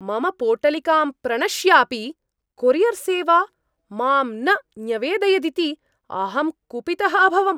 मम पोटलिकां प्रणश्यापि कोरियर्सेवा मां न न्यवेदयदिति अहं कुपितः अभवम्।